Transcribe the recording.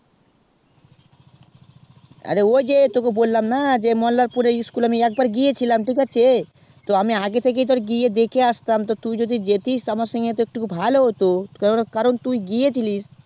আরে ওই যে তোকে যে বললাম মোল্লারপুরে school আমি এক বার আগে থেকে গিয়ে আসতাম তা তুই যদি জেথিস তো একটু ভালো হতো তো কারণ তুই গিয়েছিলি